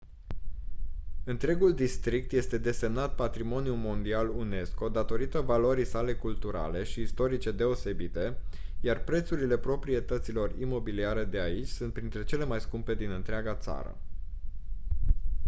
întregul district este desemnat patrimoniu mondial unesco datorită valorii sale culturale și istorice deosebite iar prețurile proprietăților imobiliare de aici sunt printre cele mai scumpe din întreaga țară